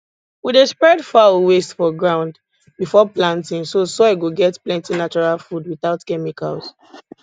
we dey spread fowl waste for ground before planting so soil go get plenti natural food without chemicals